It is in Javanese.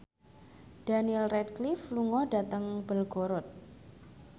Daniel Radcliffe lunga dhateng Belgorod